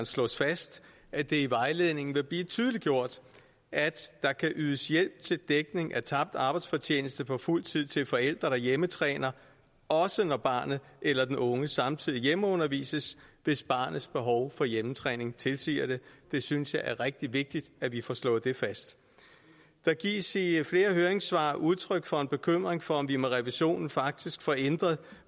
slås fast at det i vejledningen vil blive tydeliggjort at der kan ydes hjælp til dækning af tabt arbejdsfortjeneste på fuld tid til forældre der hjemmetræner også når barnet eller den unge samtidig hjemmeundervises hvis barnets behov for hjemmetræning tilsiger det jeg synes det er rigtig vigtigt at vi får slået det fast der gives i flere høringssvar udtryk for en bekymring for om vi med revisionen faktisk får ændret